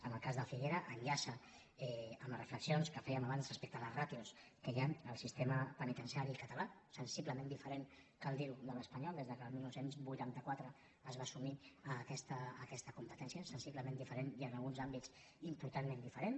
en el cas de figueres enllaça amb les reflexions que fèiem abans respecte a les ràtios que hi han en el sistema penitenciari català sensiblement diferent cal dir ho de l’espanyol des que el dinou vuitanta quatre es va assumir aquesta competència sensiblement diferent i en alguns àmbits importantment diferent